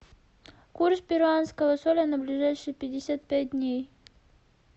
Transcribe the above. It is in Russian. курс перуанского соля на ближайшие пятьдесят пять дней